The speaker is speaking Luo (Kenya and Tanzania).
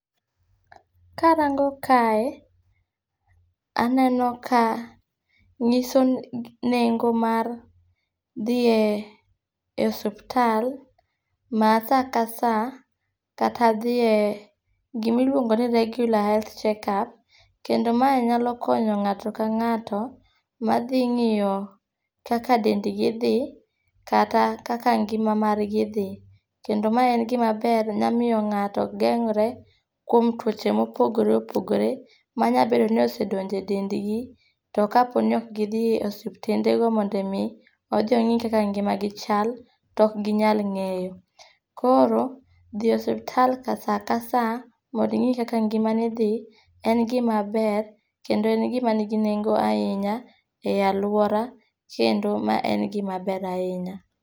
Karang'o kae, aneno ka nyiso nengo mar dhiye osuptal ma sa ka sa kata dhiye gimiluongo ni regular health checkup kendo mae nyalo konyo ng'ato ka ng'ato ma dhi ng'iyo kaka dendgi dhi kata kaka ngima margi dhi. Kendo mae en gima ber nya miyo ng'ato geng're kuom tuoche mopogre opogre manya bedo ninosedonjo e dendgi, to kapo ni ok gidhi e osiptendego mondo omi odhi ong'i kaka ngimagi chal, to ok ginyal ng'eyo. Koro dhi e osuptal sa ka sa mondo ing'i kaka ngimani dhi en gimaber kendo en gima nigi nengo ahinya e alwora kendo ma en gimaber ahinya.